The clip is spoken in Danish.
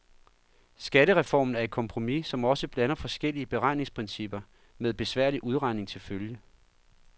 Skattereformen er et kompromis, som også blander forskellige beregningsprincipper, med besværlig udregning til følge.